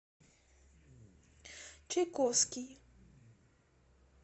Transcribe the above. чайковский